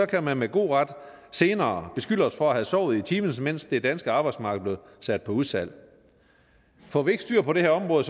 kan man med god ret senere beskylde os for at have sovet i timen mens det danske arbejdsmarked blev sat på udsalg får vi ikke styr på det her område